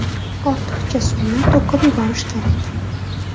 Ortiqcha suvni to‘kib yuborish kerak.